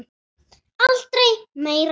Aldrei meira líf.